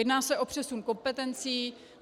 Jedná se o přesun kompetencí.